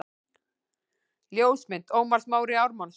Ljósmynd: Ómar Smári Ármannsson